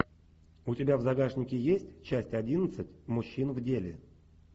у тебя в загашнике есть часть одиннадцать мужчин в деле